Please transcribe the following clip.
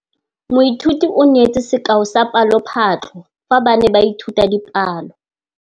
Moithuti o neetse sekaô sa palophatlo fa ba ne ba ithuta dipalo.